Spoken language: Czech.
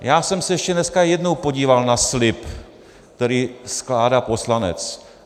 Já jsem se ještě dneska jednou podíval na slib, který skládá poslanec.